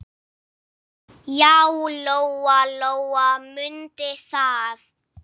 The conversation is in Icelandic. Já, Lóa-Lóa mundi það.